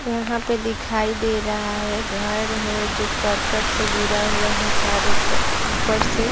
यहाँ पे दिखाई दे रहा है घर है जो करकट से घिरा हुआ है चारो त उपर से ।